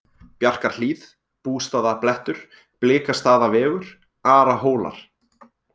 Bjarkarhlíð, Bústaðablettur, Blikastaðavegur, Arahólar